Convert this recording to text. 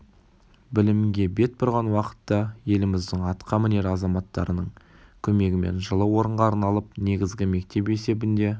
білімге бет бұрған уақытта еліміздің атқа мінер азаматтарының көмегімен жылы орынға арналып негізгі мектеп есебінде